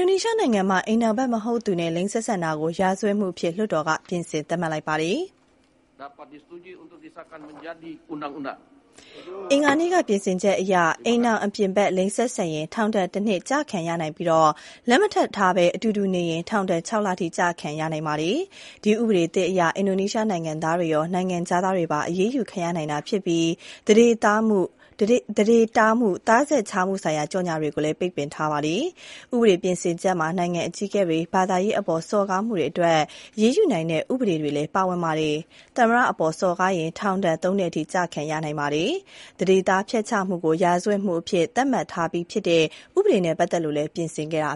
ိုနီးရှားနိုင်ငံမှာ အိမ်ထောင်ဖက်မဟုတ်သူနဲ့ လိင်ဆက်ဆံတာကို ရာဇဝတ်မှုအဖြစ် လွှတ်တော်က ပြင်ဆင်သတ်မှတ်လိုက်ပါတယ်။ အင်္ဂါနေ့က ပြင်ဆင်ချက်အရ၊ အိမ်ထောင်အပြင်ဖက် လိင်ဆက်ဆံရင် ထောင်ဒဏ်တနှစ် ကျခံရနိုင်ပြီး လက်မထပ်ထားဘဲ အတူတူနေရင် ထောင်ဒဏ် ၆ လထိ ကျခံရနိုင်ပါတယ်။ ဒီဥပဒေသစ်အရ အင်ဒိုနီးရှားနိုင်ငံသားတွေရော နိုင်ငံခြားသားတွေပါ အရေးယူခံရနိုင်တာ ဖြစ်ပြီး သန္ဓေတားမှု၊ သားဆက်ခြားမှုဆိုင်ရာ ကြော်ငြာတွေကိုလည်း ပိတ်ပင်ထားပါတယ်။ ဥပဒေပြင်ဆင်ချက်မှာ နိုင်ငံအကြီးအကဲတွေ၊ ဘာသာရေးအပေါ် စော်ကားမှုတွေအတွက် အရေးယူနိုင်တဲ့ ဥပဒေတွေလည်း ပါဝင်ပါတယ်။ သမ္မတအပေါ် စော်ကားရင် ထောင်ဒဏ် ၃ နှစ်အထိ ကျခံရနိုင်ပါတယ်။ သန္ဓေသားဖျက်ချမှုကို ရာဇဝတ်မှုအဖြစ် သတ်မှတ်ထားပြီးဖြစ်တဲ့ ဥပဒေနေဲ့ ပတ်သက်လို့လည်း ပြင်ဆင်ခဲ့တာ